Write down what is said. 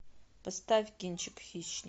поставь кинчик хищник